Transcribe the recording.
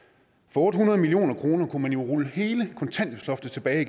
for otte hundrede million kroner kunne man jo rulle hele kontanthjælpsloftet tilbage